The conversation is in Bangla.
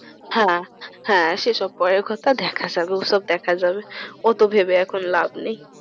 হ্যাঁ হ্যাঁ সেসব পরের কথা দেখা যাবে ওসব দেখা যাবে অত ভেবে এখন লাভ নেই।